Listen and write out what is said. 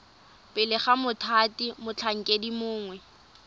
pele ga mothati motlhankedi mongwe